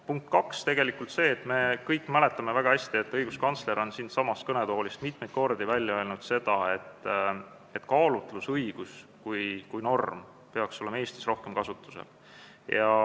Punkt 2 on see, et me kõik mäletame väga hästi, kui õiguskantsler on siitsamast kõnetoolist mitmeid kordi öelnud, et kaalutlusõigus kui norm peaks olema Eestis rohkem kasutusel.